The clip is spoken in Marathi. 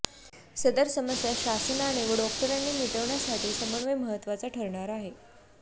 सदर समस्या शासनाने व डॉक्टरांनी मिटविण्यासाठी समन्वय महत्त्वाचा ठरणार आहे